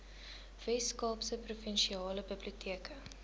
weskaapse provinsiale biblioteke